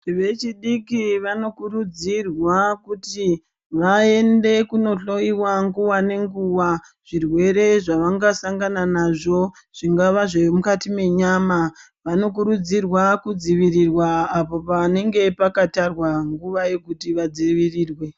Vechidiki vanokurudzirwa kuti vaende kundohloiwa nguwa ngenguwa zvirwere zvavanga sangana nazvo zvingava zviri mukati menyama vanokurudzirwa kudzivirira apo panenge pakatarwa nguwa yekuti kudzivirirwa.